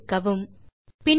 தீர்வுக்கு முனையத்துக்கு மாறலாம்